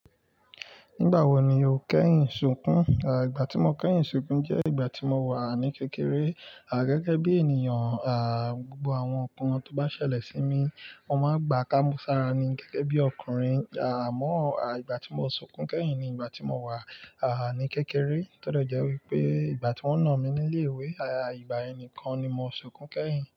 Nígbà wo ni o kẹ́yìn ṣunkún? Ìgbà tí mo kẹ́yìn ṣunkún jẹ́ ìgbà tí mo wà ní kékeré, à gẹ́gẹ́ bí ènìyàn, à gbogbo àwọn nka tó bá ṣẹlẹ̀ sí mi, wọ́n máa ń gbà kí mo sára ni gẹ́gẹ́ bí ọkùnrin. Àmó à ìgbà tí mo ṣunkún kẹ́yìn ni ìgbà tí mo wà, à ní kékeré. Tó de jẹ́ wípé ìgbà tí wọ́n nà mí nílé ìwé, à ìgbà ẹni kan ni mo ṣunkún kẹ́yìn.